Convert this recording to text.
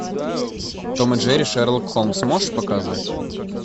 том и джерри шерлок холмс можешь показать